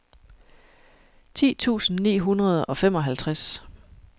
ti tusind ni hundrede og femoghalvtreds